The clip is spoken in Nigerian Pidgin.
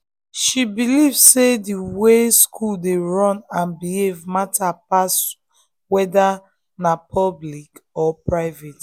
she believe say the way school dey run and behave matter pass whether na public or private